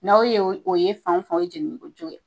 N'aw ye o ye fan o fan, o ye jenini kojugu ye.